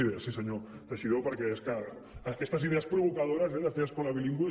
idees sí senyor teixidó perquè és que aquestes idees provocadores eh de fer escola bilingüe